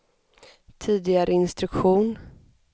tidigare instruktion